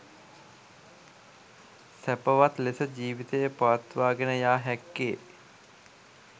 සැපවත් ලෙස ජීවිතය පවත්වාගෙන යා හැක්කේ